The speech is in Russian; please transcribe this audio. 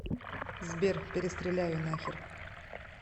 сбер перестреляю нахер